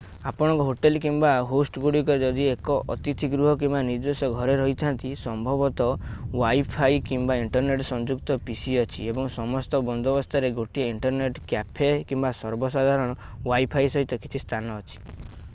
ଆପଣଙ୍କର ହୋଟଲ୍ କିମ୍ବା ହୋଷ୍ଟଗୁଡ଼ିକରେ ଯଦି ଏକ ଅତିଥିଗୃହ କିମ୍ବା ନିଜସ୍ୱ ଘରେ ରହିଥା’ନ୍ତି ସମ୍ଭବତଃ ୱାଇଫାଇ କିମ୍ବା ଇଣ୍ଟରନେଟ୍ ସଂଯୁକ୍ତ pc ଅଛି ଏବଂ ସମସ୍ତ ବନ୍ଦୋବସ୍ତରେ ଗୋଟିଏ ଇଣ୍ଟରନେଟ୍ କ୍ୟାଫେ କିମ୍ବା ସର୍ବସାଧାରଣ ୱାଇଫାଇ ସହିତ କିଛି ସ୍ଥାନ ଅଛି।